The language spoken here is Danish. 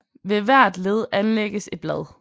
Ved hvert led anlægges et blad